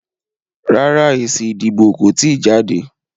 Rárá, èsì ìdìbò kò tíì jáde